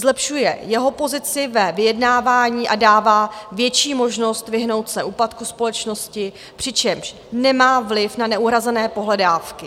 Zlepšuje jeho pozici ve vyjednávání a dává větší možnost vyhnout se úpadku společnosti, přičemž nemá vliv na neuhrazené pohledávky.